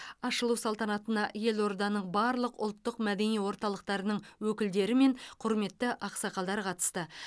ашылу салтанатына елорданың барлық ұлттық мәдени орталықтарының өкілдері мен құрметті ақсақалдар қатысты